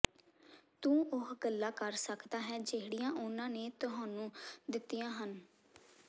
ਤੂੰ ਉਹ ਗੱਲਾਂ ਕਰ ਸੱਕਦਾ ਹੈ ਜਿਹੜੀਆਂ ਉਨ੍ਹਾਂ ਨੇ ਤੁਹਾਨੂੰ ਦਿੱਤੀਆਂ ਹਨ